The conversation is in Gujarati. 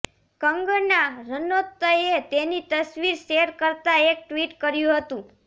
કંગના રનૌતએ તેની તસવીર શેર કરતા એક ટ્વીટ કર્યું હતું